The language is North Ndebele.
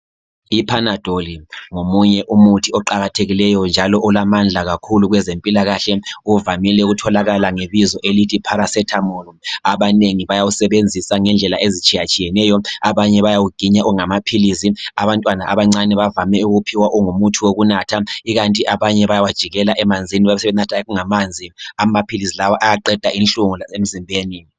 Ipanadol ngomunye umuthi oqakathekileyo njalo olamandla kakhulu kwezempilakahle. Uvamile ukutholakala ngebizo elithi paracetamol. Abanengi bayawusebenzisa ngendlela ezitshiyatshiyeneyo. Abanye bayawuginya ungamaphilisi, abantwana abancane bavame ukuwuphiwa ungumuthi wokunatha, ikanti abanye bayawajikela emanzini bebesebenatha ungamanzi. Amaphilisi lawa ayaqeda inhlungu emzimbeni.